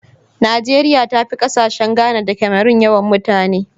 Nigeria tafi kasashe Ghana da Cameron yawan mutane.